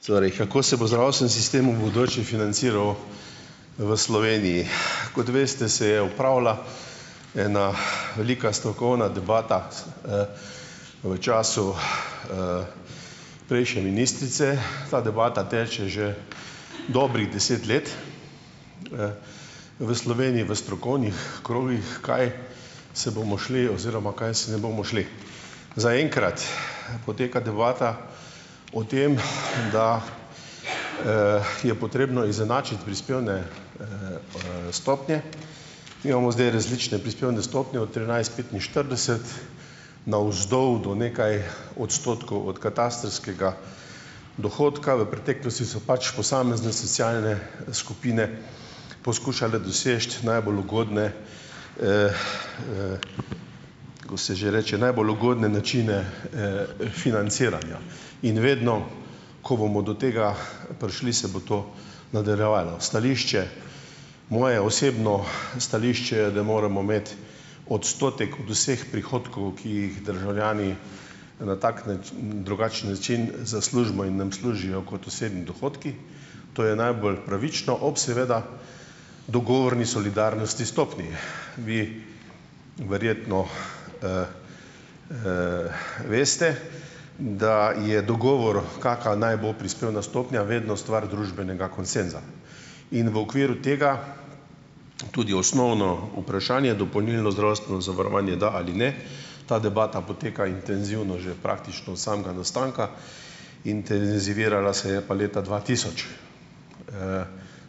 Sori, kako se bo zdravstveni sitem v bodoče financiral v Sloveniji? Kot veste, se je opravila ena velika strokovna debata, v času, prejšnje ministrice. Ta debata teče že dobrih deset let v Sloveniji v strokovnih krogih, kaj se bomo šli oziroma kaj se ne bomo šli. Zaenkrat poteka debata o tem, da, je potrebno izenačiti prispevne, stopnje. Mi imamo zdaj različne prispevne stopnje od trinajst petinštirideset navzdol do nekaj odstotkov od katastrskega dohodka. V preteklosti so pač posamezne socialne skupine poskušale doseči najbolj ugodne, ko se že reče, najbolj ugodne načine, financiranja. In vedno, ko bomo do tega prišli, se bo to nadaljevalo. Stališče, moje osebno stališče je, da moramo imeti odstotek od vseh prihodkov, ki jih državljani na tak nič, drugačen način zaslužimo in nam služijo kot osebni dohodki, to je najbolj pravično, ob seveda dogovorni solidarnosti stopnji. Vi verjetno, veste, da je dogovor, kaka naj bo prispevna stopnja, vedno stvar družbenega konsenza. In v okviru tega tudi osnovno vprašanje, dopolnilno zdravstveno zavarovanje, da ali ne. Ta debata poteka intenzivno že praktično od samega nastanka. Intenzivirala se je pa leta dva tisoč,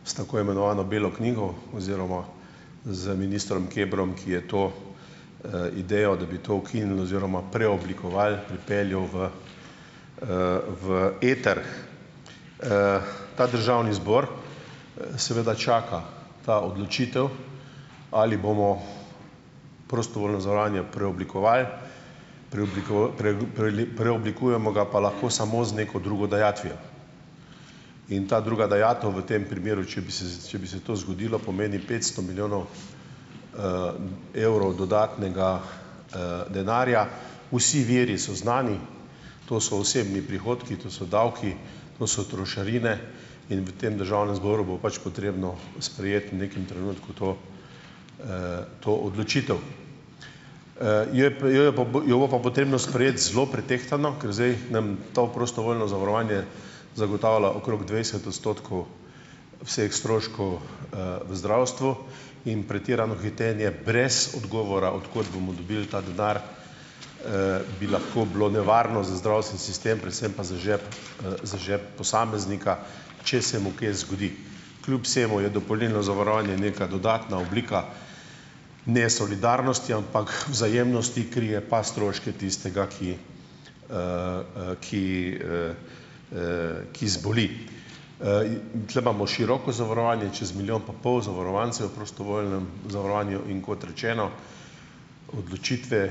s tako imenovano belo knjigo oziroma z ministrom Kebrom, ki je to, idejo, da bi to ukinili oziroma preoblikovali, pripeljal v, v eter. Ta državni zbor, seveda čaka. Ta odločitev, ali bomo prostovoljno zavarovanje preoblikovali, pre, preli, preoblikujemo ga pa lahko samo z neko drugo dajatvijo. In ta druga dajatev v tem primeru, če bi se z, če bi se to zgodilo, pomeni petsto milijonov, evrov dodatnega, denarja. Vsi viri so znani. To so osebni prihodki, to so davki, to so trošarine. In v tem državnem zboru bo pač potrebno sprejeti v nekem trenutku to, to odločitev. Jap, je pa, jo bo pa potrebno sprejeti zelo pretehtano, ker zdaj nam to prostovoljno zavarovanje zagotavlja okrog dvajset odstotkov vseh stroškov, v zdravstvu. In pretirano hitenje brez odgovora, od kod bomo dobili ta denar, bi lahko bilo nevarno za zdravstveni sistem, predvsem pa za žep, za žep posameznika, če se mu kje zgodi. Kljub vsemu je dopolnilno zavarovanje neka dodatna oblika ne solidarnosti, ampak vzajemnosti, krije pa stroške tistega, ki, ki, ki zboli. In ... Tule imamo široko zavarovanje, čez milijon pa pol zavarovancu v prostovoljnem zavarovanju. In kot rečeno, odločitve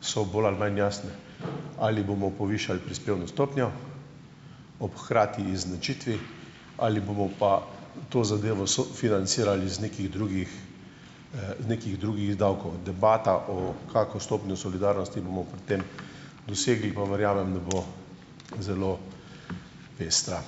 so bolj ali manj jasne, ali bomo povišali prispevno stopnjo ob hkrati izničitvi ali bomo pa to zadevo so financirali iz nekih drugih, nekih drugih davkov. Debata o, kako stopnjo solidarnosti bomo pri tem dosegli pa, verjamem, da bo zelo pestra.